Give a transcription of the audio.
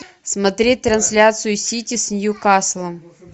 смотреть трансляцию сити с ньюкаслом